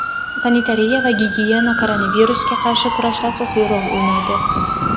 sanitariya va gigiyena koronavirusga qarshi kurashda asosiy rol o‘ynaydi.